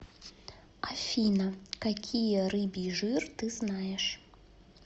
афина какие рыбий жир ты знаешь